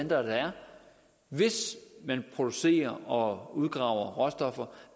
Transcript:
der er hvis man producerer og udgraver råstoffer